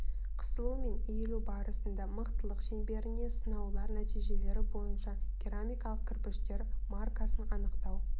қысылу мен иілу барысында мықтылық шеңберіне сынаулар нәтижелері бойынша керамикалық кірпіштер маркасын анықтау